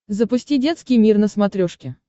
запусти детский мир на смотрешке